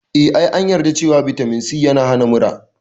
Eh, Ee, an yarda cewa Vitamin C yana hana mura.